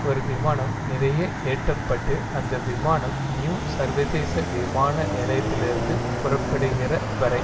ஒரு விமானம் நிறைய ஏற்ற பட்டு அந்த விமானம் நியூ சர்வதேச விமான நிலையத்திலிருந்து புறப்படுகிற வரை